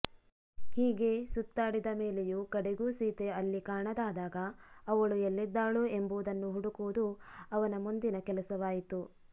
ಹೀಗೆ ಸುತ್ತಾಡಿದ ಮೇಲೆಯೂ ಕಡೆಗೂ ಸೀತೆ ಅಲ್ಲಿ ಕಾಣದಾದಾಗ ಅವಳು ಎಲ್ಲಿದ್ದಾಳೋ ಎಂಬುದನ್ನು ಹುಡುಕುವುದು ಅವನ ಮುಂದಿನ ಕೆಲಸವಾಯಿತು